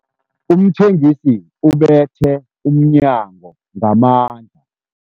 Umthengisi ubethe umnyango ngamandla.